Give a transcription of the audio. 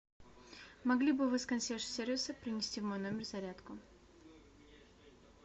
могли бы вы с консьерж сервиса принести в мой номер зарядку